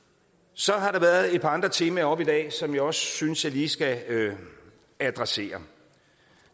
så har der været et par andre temaer oppe i dag som jeg også synes jeg lige skal adressere